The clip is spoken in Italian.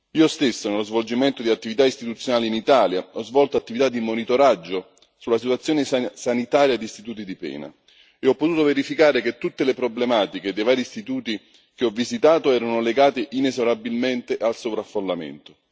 Io stesso nello svolgimento di attività istituzionali in Italia, ho svolto attività di monitoraggio sulla situazione sanitaria di istituti di pena e ho potuto verificare che tutte le problematiche dei vari istituti che ho visitato erano legate inesorabilmente al sovraffollamento.